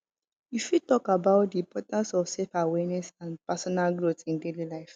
you fit talk about di importance of selfawareness and personal growth in daily life